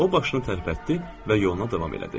O başını tərpətdi və yola davam elədi.